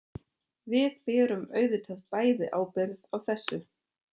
Við berum auðvitað bæði ábyrgð á þessu.